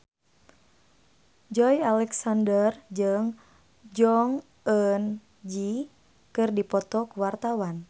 Joey Alexander jeung Jong Eun Ji keur dipoto ku wartawan